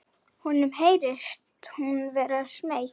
Honum heyrist hún vera smeyk.